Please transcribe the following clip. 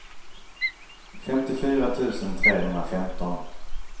femtiofyra tusen trehundrafemton